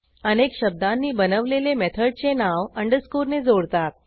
अनेक शब्दांनी बनवलेले मेथडचे नाव अंडरस्कोर ने जोडतात